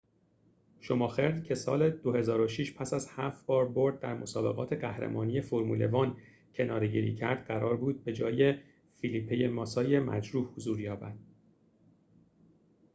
شوماخر که سال ۲۰۰۶ پس از هفت بار برد در مسابقات قهرمانی فرمول ۱ کناره‌گیری کرد قرار بود جای فلیپه ماسای مجروح حضور یابد